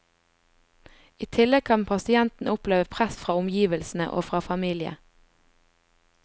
I tillegg kan pasienten oppleve press fra omgivelsene og fra famile.